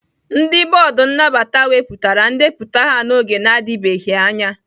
Ndị bọọdụ nnabata wepụtara ndepụta ya n'oge na-adịbeghị anya